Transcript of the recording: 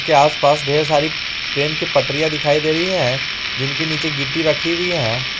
के आसपास ढेर सारी ट्रेन की पटरिया दिखाई दे रही हैं जिनके नीचे गिट्टी रखी हुई है।